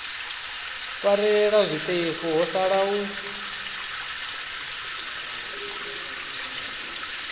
farelela zwiṱefu ho sala u